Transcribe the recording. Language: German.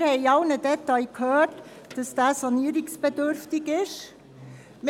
Wir haben es bereits sehr detailreich zu hören bekommen, dass er sanierungsbedürftig ist.